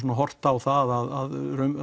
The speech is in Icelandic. horft á það að